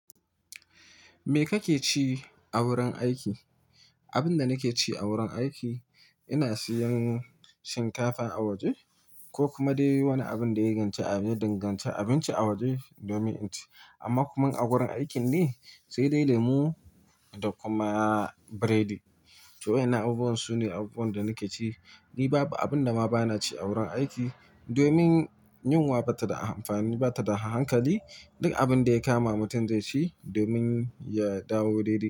Me kake ci a wurin aiki? Abin da nake ci a wurin aiki, ina siyan shinkafa a waje ko kuma dai wani abin da ya dinganci abinci a waje domin inci. Amma kuma a wurin aikin ne sai dai lemu da kuma biredi. To waɗannan abubuwan su ne abubuwan da nake ci. Ni, babu abin da ma bana ci a wurin aiki domin yunwa ba ta da amfani, ba ta da hankali. Duk abin da ya kama mutum zai ci domin ya dawo daidai.